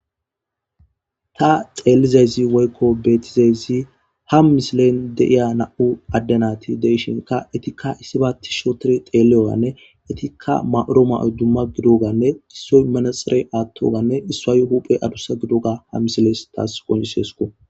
ta xeelizayzi woykko beetizayzi ha misilen deiya na7u addanati deishinka itikka issiba ti shootor xeeliyowanne itikka ma7oro ma7oy dumma gidoganne issoy manaxere aattoganne issuayu huphe adusa gidoga ha misiles taas qoncisesuko